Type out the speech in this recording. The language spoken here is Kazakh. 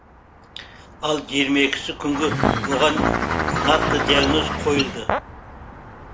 ал жиырма екісі күнгі оған нақты диагноз қойылды